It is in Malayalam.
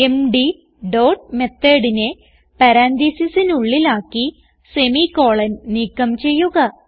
എംഡി ഡോട്ട് methodനെ പരാൻതീസിസിനുള്ളിൽ ആക്കി semi കോളൻ നീക്കം ചെയ്യുക